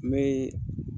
N bɛ